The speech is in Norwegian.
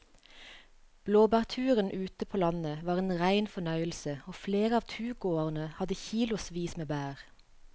Blåbærturen ute på landet var en rein fornøyelse og flere av turgåerene hadde kilosvis med bær.